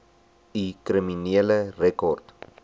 u kriminele rekord